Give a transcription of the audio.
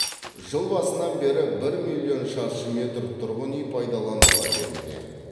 жыл басынан бері бір миллион шаршы метр тұрғын үй пайдалануға берілген